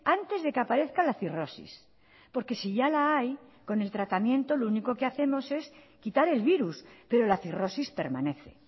antes de que aparezca la cirrosis porque si ya la hay con el tratamiento lo único que hacemos es quitar el virus pero la cirrosis permanece